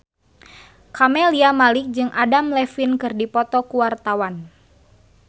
Camelia Malik jeung Adam Levine keur dipoto ku wartawan